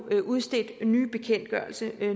blive udstedt nye bekendtgørelser de